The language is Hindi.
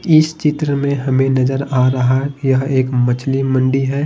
इस चित्र में हमें नजर आ रहा है कि यह एक मछली मंडी है।